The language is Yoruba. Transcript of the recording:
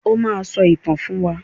O máa sọ ìtàn fún wa.